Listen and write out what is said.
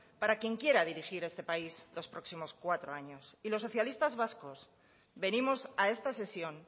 para quien quiera dirigir este país en los próximos cuatro años y los socialistas vascos venimos a esta sesión